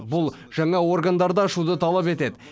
бұл жаңа органдарды ашуды талап етеді